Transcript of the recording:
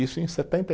Isso em setenta e